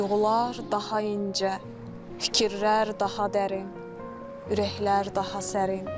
Duyğular daha incə, fikirlər daha dərin, ürəklər daha sərin.